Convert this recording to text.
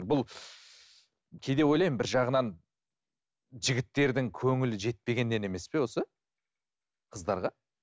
бұл кейде ойлаймын бір жағынан жігіттердің көңілі жетпегеннен емес пе осы қыздарға